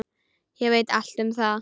Ég veit allt um það.